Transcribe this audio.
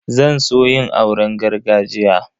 Zan so yin auren gargajiya.